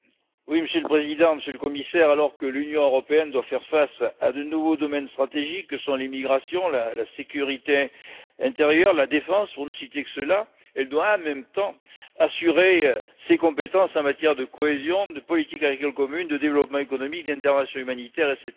Monsieur le Président, Monsieur le Commissaire, alors que l'Union européenne doit faire face à de nouveaux domaines stratégiques, comme l'immigration, la sécurité intérieure, la défense, pour ne citer que ceux là, elle doit en même temps assurer ses compétences en matière de cohésion, de politique agricole commune, de développement économique, d'intervention humanitaire, etc.